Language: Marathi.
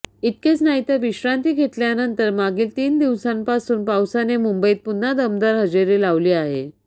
इतकेच नाहीतर विश्रांती घेतल्यानंतर मागील तीन दिवसांपासून पावसाने मुंबईत पुन्हा दमदार हजेरी लावली आहे